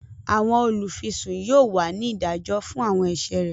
Awọn olufisun yóò wá ní ìdájọ fún awọn ẹṣẹ rẹ